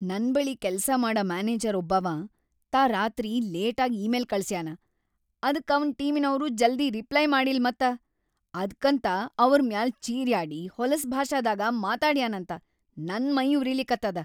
ನನ್‌ ಬಳಿ ಕೆಲ್ಸಾ ಮಾಡ ಮ್ಯಾನೆಜರ್‌ ಒಬ್ಬಾವ ತಾ ರಾತ್ರಿ ಲೇಟಾಗ್ ಇ-ಮೇಲ್‌ ಕಳ್ಸ್ಯಾನ ಅದ್ಕ ಅವನ್‌ ಟೀಮಿನವ್ರು ಜಲ್ದಿ ರಿಪ್ಲೈ ಮಾಡಿಲ್‌ ಮತ, ಅದ್ಕಂತ ಅವ್ರ ಮ್ಯಾಲ್‌ ಚೀರ್ಯಾಡಿ ಹೊಲಸ್‌ ಭಾಷಾದಾಗ ಮಾತಾಡ್ಯಾನಂತ, ನನ್‌ ಮೈಯುರಿಲಿಕತ್ತದ.